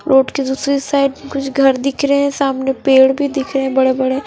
road के दूसरी side कुछ घर दिख रहे है सामने पेड़ भी दिख रहे है बड़े बड़े --